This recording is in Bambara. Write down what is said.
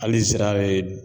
Hali zira yɛrɛ